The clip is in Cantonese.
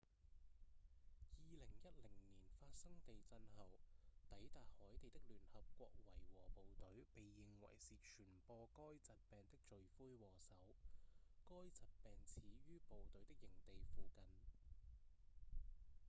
2010年發生地震後抵達海地的聯合國維和部隊被認為是傳播該疾病的罪魁禍首該疾病始於部隊的營地附近